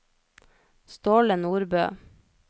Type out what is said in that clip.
Ståle Nordbø